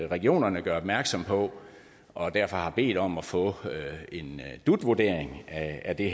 regionerne gør opmærksom på og derfor har de bedt om at få en dut vurdering af det